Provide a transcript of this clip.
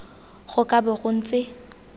go ka bo go ntse